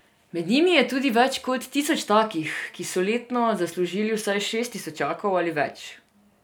Med njimi je tudi več kot tisoč takih, ki so letno zaslužili vsaj šest tisočakov ali več.